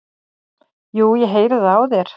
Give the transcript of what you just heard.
"""Jú, ég heyri það á þér."""